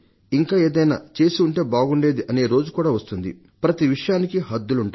ఇంకా ఏదైనా చేసి ఉంటే బాగుండేది అనే రోజు కూడా వస్తుంది ప్రతి విషయానికి హద్దులుంటాయి